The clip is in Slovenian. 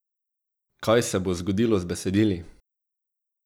Kaj se bo zgodilo z besedili?